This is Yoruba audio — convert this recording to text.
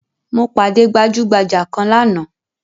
Mo pàdé gbajugbaja kan lánàá